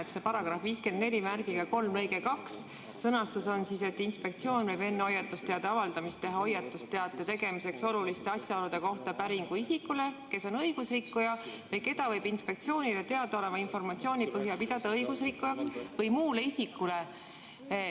Selle § 543 lõike 2 sõnastus on, et inspektsioon võib enne hoiatusteate avaldamist teha hoiatusteate tegemiseks oluliste asjaolude kohta päringu isikule, kes on õigusrikkuja või keda võib inspektsioonile teadaoleva informatsiooni põhjal pidada õigusrikkujaks, või muule isikule.